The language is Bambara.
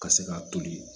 Ka se k'a toli